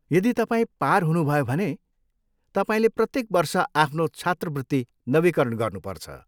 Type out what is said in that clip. यदि तपाईँ पार हुनुभयो भने, तपाईँले प्रत्येक वर्ष आफ्नो छात्रवृत्ति नवीकरण गर्नुपर्छ।